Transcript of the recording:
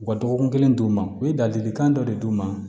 U ka dɔgɔkun kelen d'u ma u ye ladilikan dɔ de d'u ma